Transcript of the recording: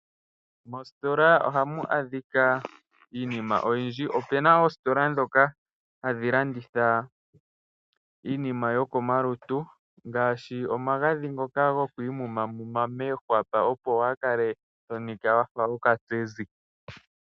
Moositola ohamu adhika iinima oyindji. Opuna oositola ndhoka hadhi landitha iinima yokomalutu ngaashi omagadhi ngoka gokugwaya moohwapa opo waakale tonika wafa okatsezi.